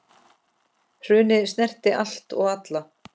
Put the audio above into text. Hrunið snerti allt og alla.